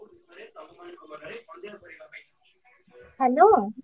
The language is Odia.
Hello ।